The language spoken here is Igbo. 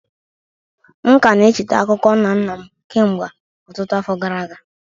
M ka na-echeta akụkọ nna nna m kemgbe ọtụtụ afọ gara aga.